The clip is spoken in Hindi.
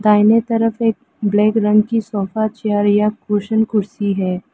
दाहिने तरफ एक ब्लैक रंग की सोफा चेयर या कुशन कुर्सी है।